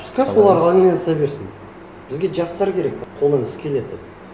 пускай солар айналыса берсін бізге жастар керек қолдан іс келетін